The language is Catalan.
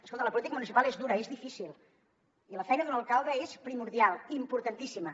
escolti la política municipal és dura és difícil i la feina d’un alcalde és primordial importantíssima